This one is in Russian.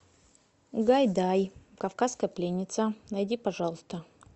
гайдай кавказская пленница найди пожалуйста